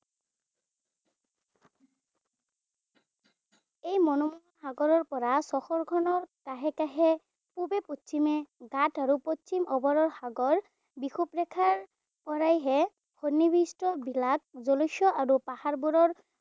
এই মুনৰো সাগৰৰ পৰা চহৰখনৰ কাষে কাষে পূবে পশ্চিমে বা সাগৰ বিষুৱৰেখাৰ পৰাহে সন্নিৱিষ্ট বিলাত জলস্য আৰু পাহাৰবোৰৰ